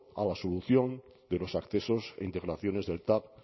a la solución de los accesos e integraciones del tav